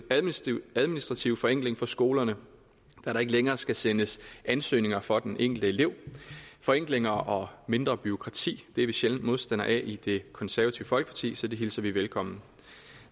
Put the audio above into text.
administrativ forenkling for skolerne da der ikke længere skal sendes ansøgninger for den enkelte elev forenklinger og mindre bureaukrati er vi sjældent modstandere af i det konservative folkeparti så det hilser vi velkommen